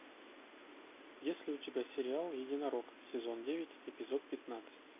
есть ли у тебя сериал единорог сезон девять эпизод пятнадцать